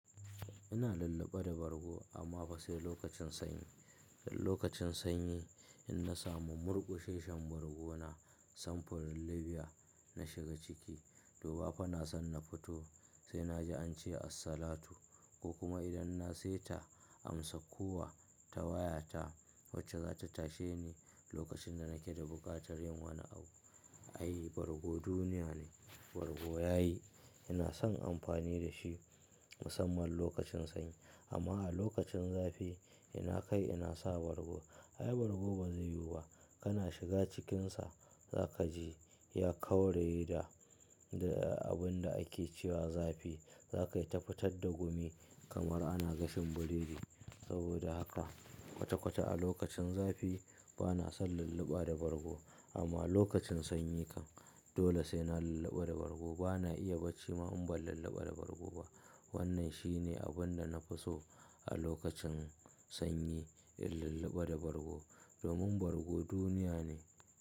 Ina lulluɓa da bargo amma fa sai lokacin sanyi. Lokacin sanyi in na samu murkusheshan bargona samfurin Libya na shiga ciki. To ba fa na son na fito sai na ji ance assalatu ko kuma idan na saita amsa kuwa ta wayata wacce za ta tashe ni lokacin da nake da buƙatar yin wani abu. Ai bargo duniya ne, bargo yayi. Ina son amfani da shi musamman lokacin sanyi. Amma a lokacin zafi ina kai ina sa bargo. Ai bargo ba zai yiwu ba. Kana shiga cikinsa za ka ji ya kawre da, da abun da ake cewa zafi. Za ka yi ta fitar da gumi kamar ana gasa biredi. Saboda haka kwata kwata a lokacin zafi ba na son lulluɓa da bargo. Amma lokacin sanyi kan dole sai na lulluɓa da bargo. Ba na iya bacci ma in ban lulluɓa da bargo ba. Wannan shi ne abin da na fi so a lokacin sanyi in lulluɓa da bargo domin bargo duniya ne.